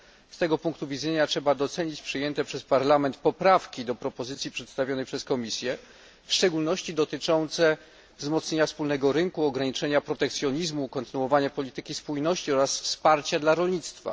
Z tego punktu widzenia trzeba docenić przyjęte przez parlament poprawki do propozycji przedstawionych przez Komisję, w szczególności dotyczące wzmocnienia wspólnego rynku, ograniczenia protekcjonizmu, kontynuowania polityki spójności oraz wsparcia dla rolnictwa.